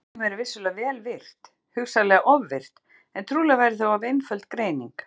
Barnið væri vissulega vel virkt, hugsanlega ofvirkt, en trúlega væri það of einföld greining.